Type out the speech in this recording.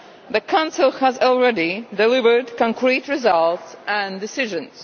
The Council has already delivered concrete results and decisions.